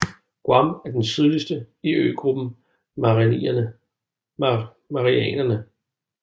Guam er den sydligste i øgruppen Marianerne